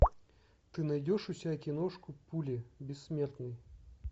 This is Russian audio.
ты найдешь у себя киношку пули бессмертный